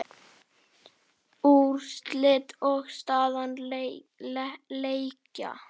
Úrslit og staða leikja